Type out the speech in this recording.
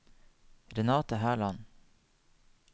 Renate Herland